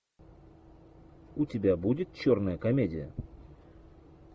у тебя будет черная комедия